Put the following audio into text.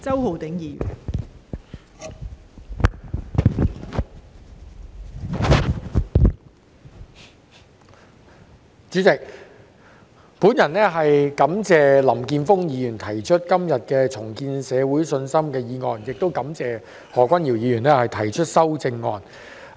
代理主席，我感謝林健鋒議員今天提出"重建社會信心"的議案，亦感謝何君堯議員提出修正案。